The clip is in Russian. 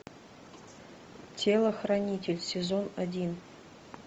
телохранитель сезон один